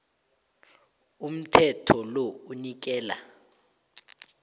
umthetho lo unikela